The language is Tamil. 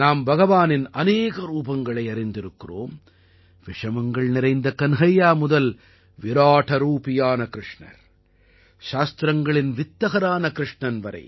நாம் பகவானின் அநேக ரூபங்களை அறிந்திருக்கிறோம் விஷமங்கள் நிறைந்த கன்ஹையா முதல் விராடரூபியான கிருஷ்ணர் சாஸ்திரங்களின் வித்தகரான கிருஷ்ணன் வரை